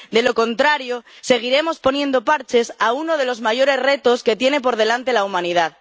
De lo contrario, seguiremos poniendo parches a uno de los mayores retos que tiene por delante la humanidad.